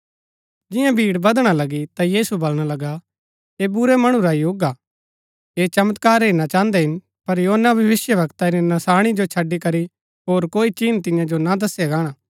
जिआं भीड़ वदणा लगी ता यीशु वलणा लगा ऐह बुरै मणु रा युग हा ऐह चमत्कार हेरना चाहन्दै हिन पर योना भविष्‍यवक्ता री नशाणी जो छड़ी करी होर कोई चिन्ह तियां जो ना दसया गाणा